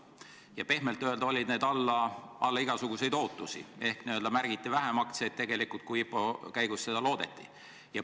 Ja pehmelt öeldes olid need alla igasuguseid ootusi ehk märgiti vähem aktsiaid, kui tegelikult IPO käigus loodeti.